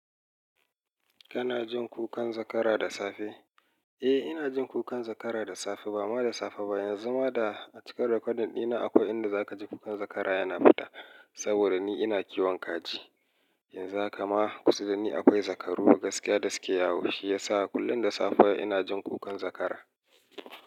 Kana jin kukan zakara da safe? Eh, ina jin kukan zakara da safe. Ba ma da safe ba, yanzu ma da cikar raƙadin ina akwai inda zaka ji kukan zakara yana fita. Saboda ni ina kiwon kaji, yanzu haka ma kusa da ni akwai zakaru gaskiya da suke yawo. Shi yasa kullum da safe ina jin kukan zakara.